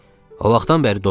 O vaxtdan bəri dostuq.